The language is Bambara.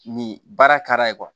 Nin baara ka